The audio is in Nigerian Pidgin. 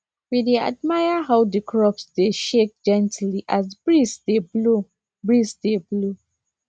we dey admire how the crops dey shake gently as breeze dey blow breeze dey blow